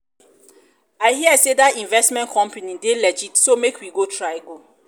i hear say dat investment company dey legit so make we try go